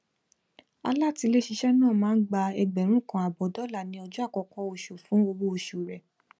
alátiléṣiṣẹ náà máa ń gba ẹgbẹrún kan àbọ dollar ni ọjọ àkọkọ nínú oṣù fún owó oṣù rẹ